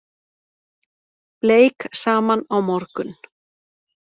Bleik saman á morgun